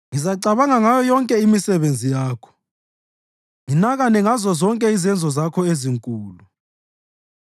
Ngizacabanga ngayo yonke imisebenzi yakho nginakane ngazozonke izenzo zakho ezinkulu.”